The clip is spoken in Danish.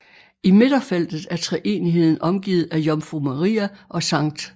I midterfeltet er treenigheden omgivet af Jomfru Maria og Skt